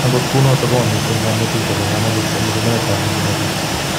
agot kunoto, komamiten konetik chebo kamuut eng somanetab neginooishei